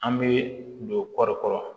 An bɛ don kɔɔri kɔrɔ